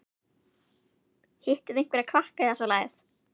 Hittuð þið einhverja krakka eða svoleiðis?